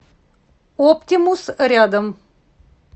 оптимус рядом